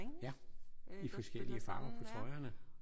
Ja i forskellige farver på trøjerne